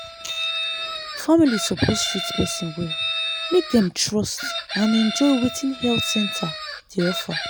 family suppose treat person well make dem trust and enjoy wetin health center dey offer.